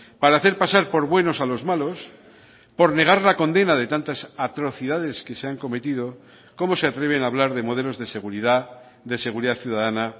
para hacer pasar por buenos a los malos por negar la condena de tantas atrocidades que se han cometido cómo se atreven hablar de modelos de seguridad de seguridad ciudadana